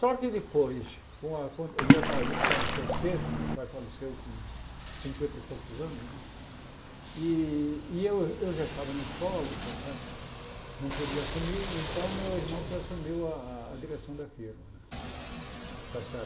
Só que depois, com a quan meu pai faleceu cedo, meu pai faleceu com cinquenta e poucos anos né, e e eu já estava na escola, não podia assumir, então meu irmão que assumiu a a direção da firma. Está certo